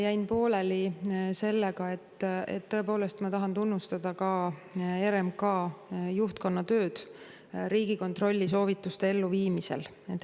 Jäin pooleli sellel kohal, et tõepoolest tahan tunnustada ka RMK juhtkonna tööd Riigikontrolli soovituste elluviimisel.